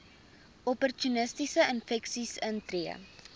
opportunistiese infeksies intree